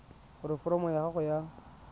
gore foromo ya gago ya